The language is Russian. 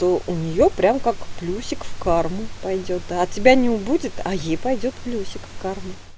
то у неё прям как плюсик в карму пойдёт от тебя не убудет а ей пойдёт плюсик в карму